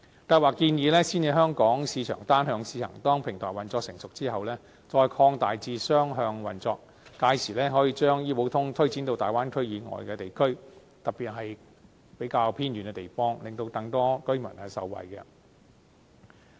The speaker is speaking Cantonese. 計劃建議先以香港市場單向試行，當平台運作成熟後，再擴大至雙向運作，屆時可以將醫保通推展至大灣區以外的地區，特別是比較偏遠的地方，令更多居民受惠。